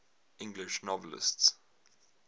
english novelists